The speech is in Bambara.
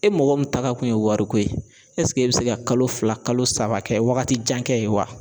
E mɔgɔ min tagakun ye wari ko ye e bɛ se ka kalo fila kalo saba kɛ wagati jan kɛ ye wa?